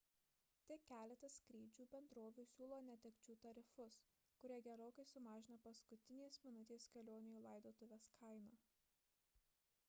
tik keletas skrydžių bendrovių siūlo netekčių tarifus kurie gerokai sumažina paskutinės minutės kelionių į laidotuves kainą